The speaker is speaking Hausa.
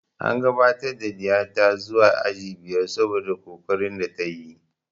An gabatar da ɗiya ta zuwa aji biyar saboda ƙoƙarin da ta yi